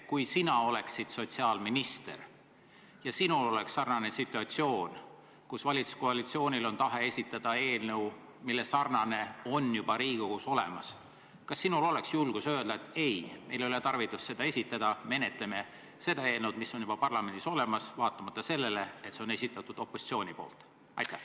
Kui sa oleksid sotsiaalminister ja sinul oleks sarnane situatsioon, kus valitsuskoalitsioonil on tahe esitada eelnõu, mille sarnane on juba Riigikogus olemas, kas sinul oleks julgust öelda, et ei, meil ei ole tarvidust seda esitada, menetleme seda eelnõu, mis on parlamendis olemas, vaatamata sellele, et see on opositsiooni esitatud?